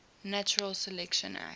natural selection acts